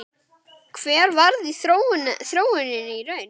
Hver varð þróunin í raun?